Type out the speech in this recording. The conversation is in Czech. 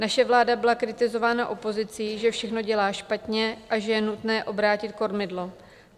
Naše vláda byla kritizována opozicí, že všechno dělá špatně a že je nutné obrátit kormidlo.